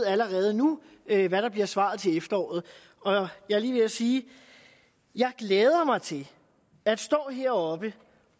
allerede nu ved hvad der bliver svaret til efteråret jeg er lige ved at sige at jeg glæder mig til at stå heroppe